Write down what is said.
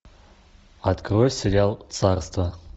открой сериал царство